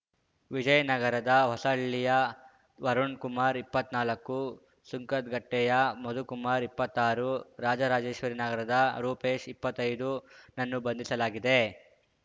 ವಿಜಯನಗರದ ಹೊಸಹಳ್ಳಿಯ ವರುಣ್ ಕುಮಾರ್ ಇಪ್ಪತ್ನಾಲ್ಕು ಸುಂಕದಕಟ್ಟೆಯ ಮಧುಕುಮಾರ್ ಇಪ್ಪತ್ತಾರು ರಾಜರಾಜೇಶ್ವರಿ ನಗರದ ರೂಪೇಶ್ ಇಪ್ಪತ್ತೈದುನನ್ನು ಬಂಧಿಸಲಾಗಿದೆ